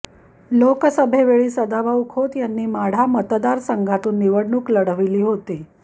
लोकसभेवेळी सदाभाऊ खोत यांनी माढा मतदारसंघातून निवडणूक लढवली होती